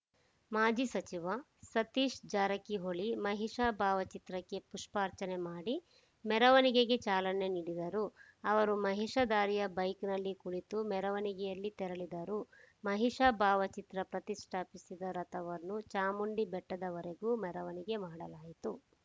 ಮಾಜಿ ಸಚಿವ ಸತೀಶ್‌ ಜಾರಕಿಹೊಳಿ ಮಹಿಷಾ ಭಾವಚಿತ್ರಕ್ಕೆ ಪುಷ್ಪಾರ್ಚನೆ ಮಾಡಿ ಮೆರವಣಿಗೆಗೆ ಚಾಲನೆ ನೀಡಿದರುಅವರು ಮಹಿಷ ಧಾರಿಯ ಬೈಕ್‌ನಲ್ಲಿ ಕುಳಿತು ಮೆರವಣಿಗೆಯಲ್ಲಿ ತೆರಳಿದರು ಮಹಿಷ ಭಾವಚಿತ್ರ ಪ್ರತಿಷ್ಠಾಪಿಸಿದ್ದ ರಥವನ್ನು ಚಾಮುಂಡಿಬೆಟ್ಟದವರೆಗೂ ಮೆರವಣಿಗೆ ಮಾಡಲಾಯಿತು